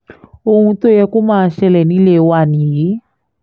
ohun tó yẹ kó máa ṣẹlẹ̀ nílé wa nìyí